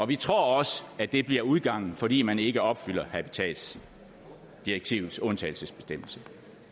vi tror også at det bliver udgangen fordi man ikke opfylder habitatsdirektivets undtagelsesbestemmelse